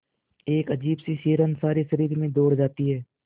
एक अजीब सी सिहरन सारे शरीर में दौड़ जाती है